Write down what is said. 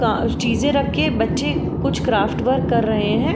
का चीजें रख के बच्चे कुछ क्राफ्ट वर्क कर रहे हैं।